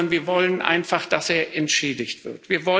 Wir wollen einfach, dass er entschädigt wird.